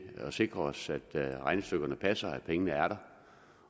at sikre os at regnestykkerne passer og at pengene er der